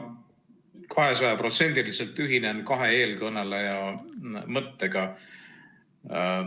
Ma kahesajaprotsendiliselt ühinen kahe eelkõneleja mõttega.